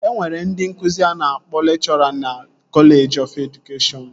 E nwere ndị nkụzi a na-akpọ lekchọra na kọleji ọf edụkeshọn